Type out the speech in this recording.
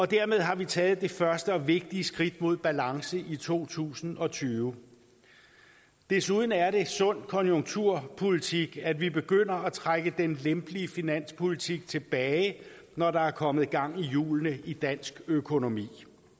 dermed har vi taget det første og vigtige skridt mod balance i to tusind og tyve desuden er det sund konjunkturpolitik at vi begynder at trække den lempelige finanspolitik tilbage når der er kommet gang i hjulene i dansk økonomi